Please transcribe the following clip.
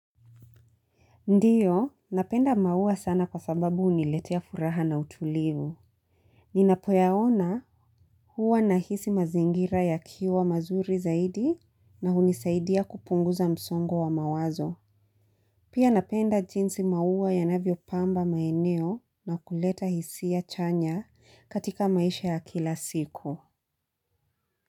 Ndiyo, napenda maua sana kwa sababu huniletea furaha na utulivu. Ninapoyaona huwa nahisi mazingira yakiwa mazuri zaidi na hunisaidia kupunguza msongo wa mawazo. Pia napenda jinsi maua yanavyopamba maeneo na kuleta hisia chanya katika maisha ya kila siku.